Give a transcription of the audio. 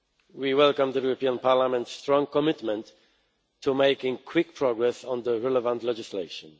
We welcome the European Parliament's strong commitment to making quick progress on the relevant legislation.